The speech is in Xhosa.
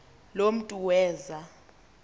lo mntu weza